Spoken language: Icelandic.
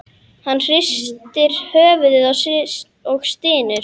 Hann hristir höfuðið og stynur.